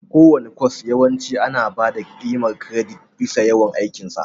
Kowane kwas yawanci ana ba da ƙimar kiredit bisa yawan aikin sa.